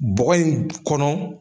Bɔgɔ in kɔnɔ.